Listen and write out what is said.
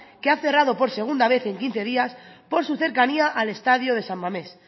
que ha cerrado por segunda vez en quince días por su cercanía al estadio de san mames